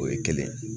O ye kelen ye